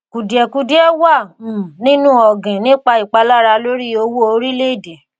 kùdìẹ̀kudiẹ wà um nínú ògìn nípa ìpalára lórí owó orílẹ̀ èdè.